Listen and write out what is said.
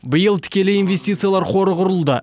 биыл тікелей инвестициялар қоры құрылды